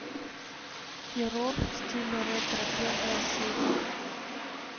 террор в стиле ретро первая серия